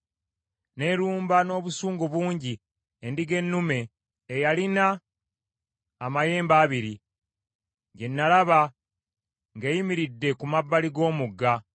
N’erumba n’obusungu bungi endiga ennume eyalina amayembe abiri, gye nalaba ng’eyimiridde ku mabbali g’omugga.